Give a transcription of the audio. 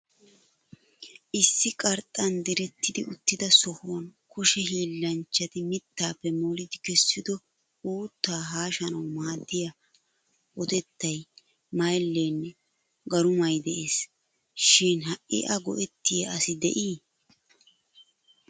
Issi qarxxan diretti uttida sohuwan kushe hiillanchchati mittaappe molidi kessido uuttaa haashanawu maaddiya otettay, mayilleenne garumay de'es. Shin ha'i a go'ettiya assi de'ii?